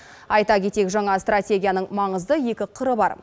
айта кетейік жаңа стратегияның маңызды екі қыры бар